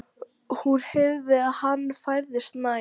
Hún heyrði að hann færðist nær.